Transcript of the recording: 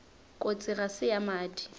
kotsi ga se ya madi